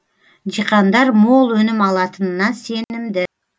диқандар мол өнім алатынына сенімді